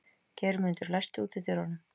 Geirmundur, læstu útidyrunum.